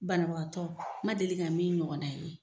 Bana bagatɔ n man deli ka min ɲɔgɔn na ye.